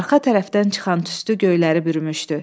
Arxa tərəfdən çıxan tüstü göyləri bürümüşdü.